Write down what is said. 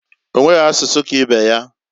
Onweghi asusu ka ibe ya.